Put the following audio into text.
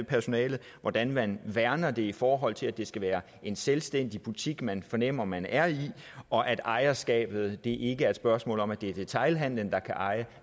personalet og hvordan man værner om det i forhold til at det skal være en selvstændig butik man fornemmer man er i og at ejerskabet ikke er et spørgsmål om at det er detailhandelen der kan eje